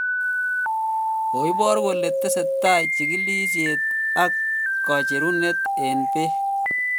Koibor kole tesetai chigilisiet ag kocherunet en peg